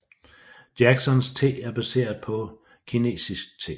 Jacksons te er baseret på kinesisk te